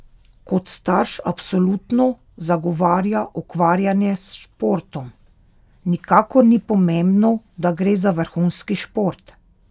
Kot starš absolutno zagovarja ukvarjanje s športom: "Nikakor ni pomembno, da gre za vrhunski šport.